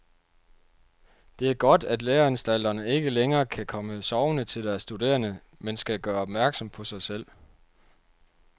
Det er godt, at læreanstalterne ikke længere kan komme sovende til deres studerende, men skal gøre opmærksom på sig selv.